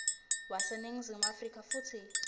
waseningizimu afrika futsi